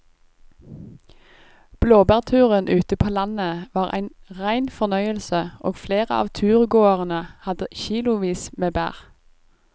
Blåbærturen ute på landet var en rein fornøyelse og flere av turgåerene hadde kilosvis med bær.